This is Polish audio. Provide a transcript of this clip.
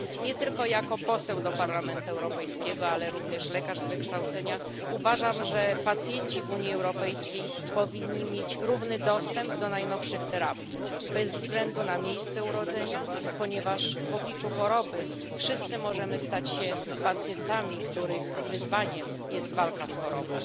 Nie tylko jako poseł do Parlamentu Europejskiego, ale również lekarz z wykształcenia uważam, że pacjenci w Unii Europejskiej powinni mieć równy dostęp do najnowszych terapii bez względu na miejsce urodzenia, ponieważ w obliczu choroby wszyscy możemy stać się pacjentami, których wyzwaniem jest walka z chorobą.